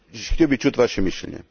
Htio bih čuti vaše mišljenje.